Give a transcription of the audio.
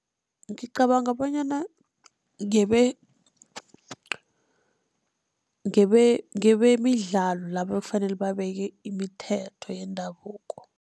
Ngicabanga bonyana ngebemidlalo laba ekufanele babeke imithetho yendabuko.